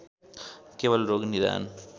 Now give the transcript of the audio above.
केवल रोग निदान